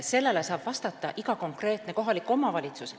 Sellele saab vastata iga konkreetne omavalitsus.